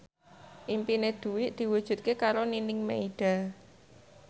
impine Dwi diwujudke karo Nining Meida